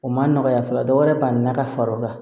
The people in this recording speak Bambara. O ma nɔgɔya fɔlɔ dɔ wɛrɛ banni na ka fara o kan